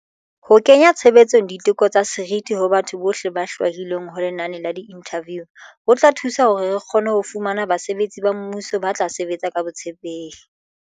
Ho kenya tshebetsong di teko tsa seriti ho batho bohle ba hlwahilweng ho lenane la diinthaviu ho tla thusa hore re kgone ho fumana basebetsi ba mmuso ba tla sebetsa ka botshepehi.